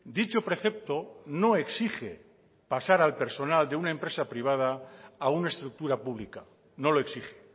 dicho precepto no exige pasar al personal de una empresa privada a una estructura pública no lo exige